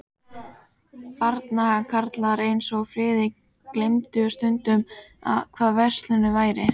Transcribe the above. Barnakarlar eins og Friðrik gleymdu stundum, hvað frelsi væri.